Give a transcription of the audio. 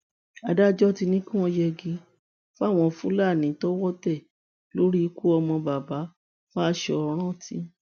adájọ ti ní kí wọn yẹgi fáwọn fúlàní tọwọ tẹ lórí ikú ọmọ baba fáṣọrántì